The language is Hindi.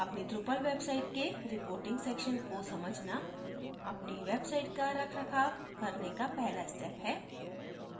अपनी drupal website के reporting section को समझना अपनी website का रखरखाव करने का पहला step है